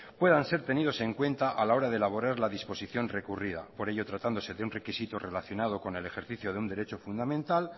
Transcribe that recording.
puedan ser tenidos en cuenta a la hora de elaborar la disposición recurrida por ello tratándose de un requisito relacionado con el ejercicio de un derecho fundamental